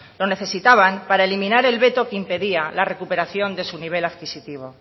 lo necesitaban para eliminar el veto que impedía la recuperación de su nivel adquisitivo